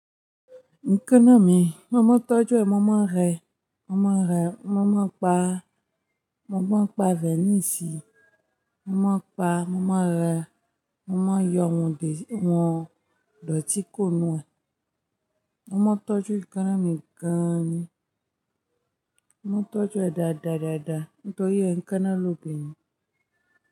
Nkaná mi, mọ́mọ́ tọ́jú ẹ, mọ́mọ́ rẹ, mọ́mọ́ rẹ, mọ́mọ́ pa, mọ́mọ́ pa vẹ́níìsì, mọ́mọ́ pa, mọ́mọ́ rẹ, mọ́mọ́ yọ wọn dè, wọn dòtí kuro nu ẹ. Mọ́mọ́ tọ́jú ìkánná mi gan-an ni. Mọ́mọ́ tọ́jú ẹ dáadáadáádá nítorí ẹ̀ ń káná lóbinrìn.